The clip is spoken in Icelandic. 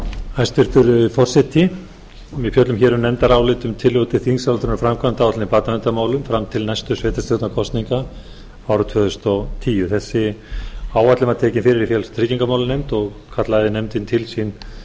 hæstvirtur forseti við fjöllum hér um nefndarálit um tillögu til þingsályktunar um framkvæmdaáætlun í barnaverndarmálum fram til næstu sveitarstjórnarkosninga árið tvö þúsund og tíu þessi áætlun var tekin fyrir í félags og tryggingamálanefnd og kallaði nefndin til sín